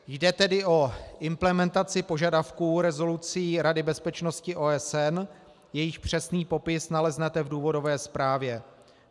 Jde tedy o implementaci požadavků rezolucí Rady bezpečnosti OSN, jejich přesný popis naleznete v důvodové zprávě.